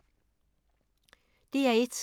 DR1